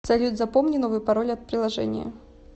салют запомни новый пароль от приложения